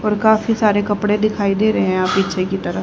और काफी सारे कपड़े दिखाई दे रहे हैं यहां पीछे की तरफ--